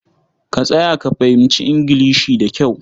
Ka tsaya ka fahimci Ingilishi da kyau.